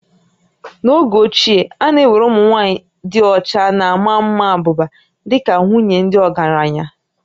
N'oge ochie, a na-ewere ụmụ nwaanyị dị ọcha na ma maa abụba dị ka nwunye ndị ọgaranya